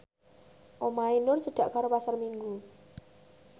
omahe Nur cedhak karo Pasar Minggu